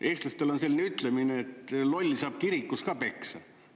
Eestlastel on selline ütlemine, et loll saab kirikus ka peksa.